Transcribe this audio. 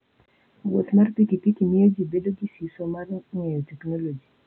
Wuoth mar pikipiki miyo ji bedo gi siso mar ng'eyo teknoloji.